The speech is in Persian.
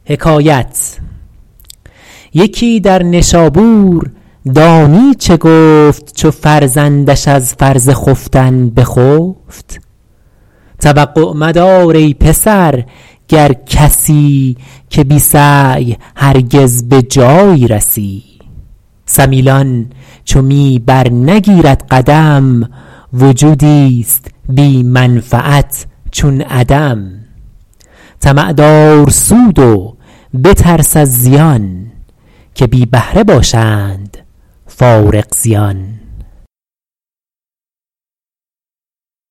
یکی در نشابور دانی چه گفت چو فرزندش از فرض خفتن بخفت توقع مدار ای پسر گر کسی که بی سعی هرگز به جایی رسی سمیلان چو می بر نگیرد قدم وجودی است بی منفعت چون عدم طمع دار سود و بترس از زیان که بی بهره باشند فارغ زیان